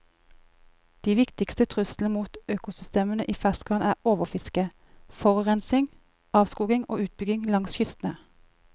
De viktigste truslene mot økosystemene i ferskvann er overfiske, forurensning, avskoging og utbygging langs kystene.